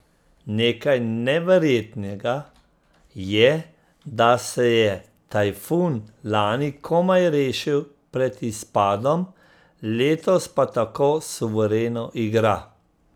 Nekaj neverjetnega je, da se je Tajfun lani komaj rešil pred izpadom, letos pa tako suvereno igra...